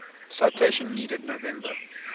citation needed november